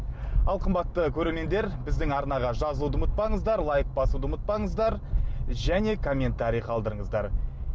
ал қымбатты көрермендер біздің арнаға жазылуды ұмытпаңыздар лайк басуды ұмытпаңыздар және комментарий қалдырыңыздар